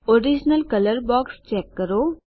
original colour box check કરો